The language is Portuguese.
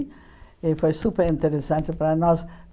E foi superinteressante para nós.